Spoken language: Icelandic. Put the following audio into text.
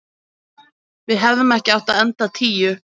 Við hefðum ekki átt að enda tíu.